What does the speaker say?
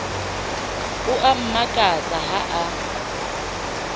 o a mmakatsa ha o